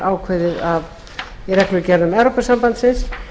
ákveðið í reglugerðum evrópusambandsins